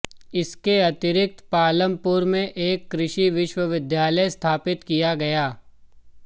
इसके अतिरिक्त पालमपुर में एक कृषि विश्वविद्यालय स्थापित किया गया